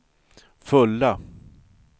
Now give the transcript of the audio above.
fulla